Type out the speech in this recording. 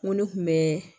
N ko ne kun bɛ